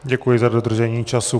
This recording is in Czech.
Děkuji za dodržení času.